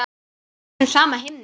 Undir þessum sama himni.